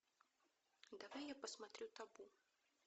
давай я посмотрю табу